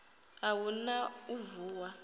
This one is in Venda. a hu na u vuwa